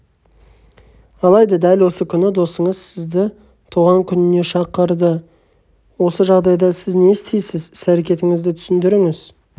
алайда дәл осы күні досыңыз сізді туған күніне шақырды осы жағдайда сіз не істейсіз іс-әрекетіңізді түсіндіріңіз